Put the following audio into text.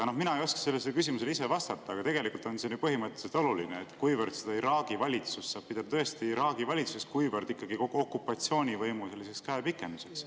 Mina ei oska sellele küsimusele vastata, aga tegelikult on see ju põhimõtteliselt oluline, kuivõrd seda Iraagi valitsust saab pidada tõesti Iraagi valitsuseks ja kuivõrd ikkagi okupatsioonivõimu käepikenduseks.